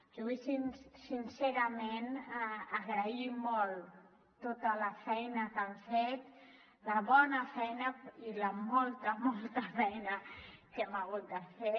jo vull sincerament agrair molt tota la feina que han fet la bona feina i la molta molta feina que hem hagut de fer